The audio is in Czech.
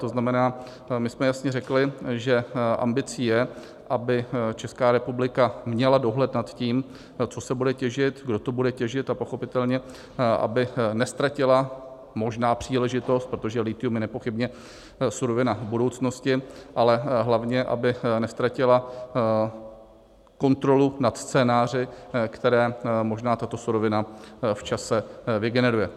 To znamená, my jsme jasně řekli, že ambicí je, aby Česká republika měla dohled na tím, co se bude těžit, kdo to bude těžit, a pochopitelně aby neztratila možná příležitost, protože lithium je nepochybně surovina budoucnosti, ale hlavně aby neztratila kontrolu nad scénáři, které možná tato surovina v čase vygeneruje.